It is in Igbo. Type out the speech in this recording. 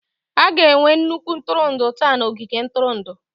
A ga-enwe nnukwu ntụrụndụ taa na ogige ntụrụndụ.